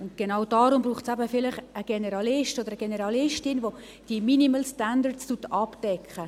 Und genau deswegen braucht es eben vielleicht einen Generalisten oder eine Generalistin, welche diese Minimal-Standards abdecken.